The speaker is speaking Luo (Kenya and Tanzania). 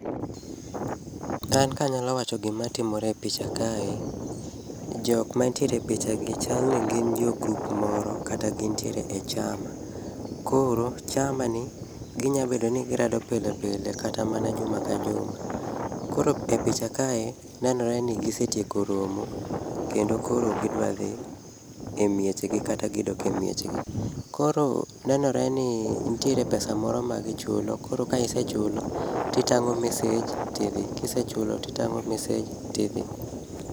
An kamyalo wacho gimatimore e picha kae, jok mantiere e pichagi chalni gin jogrup moro kata gintiere e chama. Koro chamani, ginyalo bedo ni girado pilepile kata mana juma ka juma. Koro e picha kae nenore ni gisetieko romo kendo koro gidwa dhi e miechgi kata gidok e miechgi. Koro nenore ni nitiere pesa moro magichulo koro ka isechulo titang'o message tidhi, kisechulo titang'o message tidhi.